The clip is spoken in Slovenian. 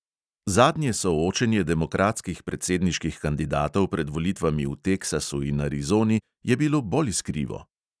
Zadnje soočenje demokratskih predsedniških kandidatov pred volitvami v teksasu in arizoni je bilo bolj iskrivo.